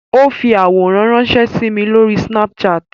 Ó fi àwòrán ránsẹ́ sí mi Lórí Snapchat